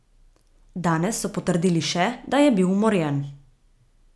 Danes so potrdili še, da je bil umorjen.